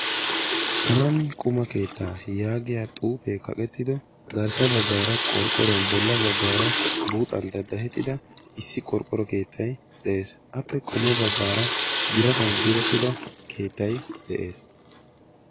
Kami quma keettaa yaagiya xuufe kaqqeettido garssa baggaara qorqqoruwan bolla baggaara buuxxan danddayettida issi qorqqoro keettay de'ees. Appe qommo baggaara birattan diretttida keettay de'ees,